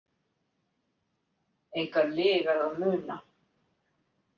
Engar lygar að muna.